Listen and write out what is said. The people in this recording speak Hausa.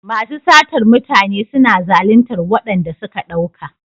Masu satar mutane suna zalintar waɗanda suka ɗauka.